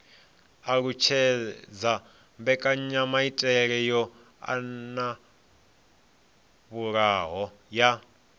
alutshedza mbekanyamaitele yo anavhuwaho ya